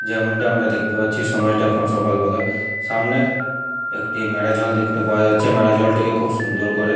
যেমনটা আমরা দেখতে পাচ্ছি সময়টা এখন সকালবেলা। সামনে একটি মেরাজল দেখতে পাওয়া যাচ্ছে। মেরাজলটিকে খুব সুন্দর করে--